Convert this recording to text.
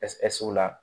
Ɛsi ɛsiwa